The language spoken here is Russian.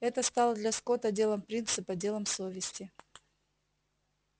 это стало для скотта делом принципа делом совести